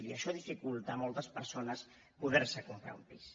i això dificulta a moltes persones poder se comprar un pis